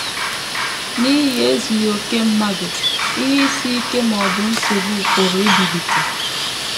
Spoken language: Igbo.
N’ihi ezughị okè mmadụ, ihe isi ike ma ma ọ bụ nsogbu pụrụ ibilite.